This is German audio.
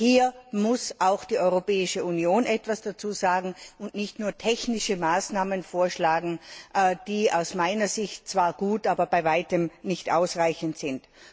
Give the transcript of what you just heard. Hierzu muss auch die Europäische Union etwas sagen und nicht nur technische Maßnahmen vorschlagen, die aus meiner Sicht zwar gut, aber bei weitem nicht ausreichend sind.